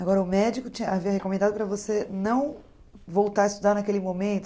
Agora, o médico tinha havia recomendado para você não voltar a estudar naquele momento?